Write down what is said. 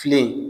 Filen